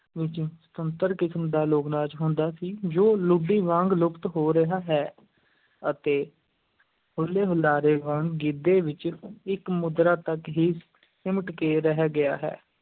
ਵਿੱਚ ਸੁਤੰਤਰ ਕਿਸਮ ਦਾ ਲੋਕ-ਨਾਚ ਹੁੰਦਾ ਸੀ, ਜੋ ਲੁੱਡੀ ਵਾਂਗ ਲੁਪਤ ਹੋ ਰਿਹਾ ਹੈ ਅਤੇ ਹੁੱਲ-ਹੁਲਾਰੇ ਵਾਂਗ ਗਿੱਧੇ ਵਿੱਚ ਇੱਕ ਮੁਦਰਾ ਤੱਕ ਹੀ ਸਿਮਟ ਕੇ ਰਹਿ ਗਿਆ ਹੈ।